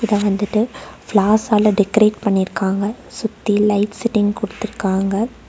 இத வந்துட்டு பிளார்ஸ் ஆள டெகரேட் பண்ணிருக்காங்க சுத்தி லைட் செட்டிங் குடுத்துருக்காங்க.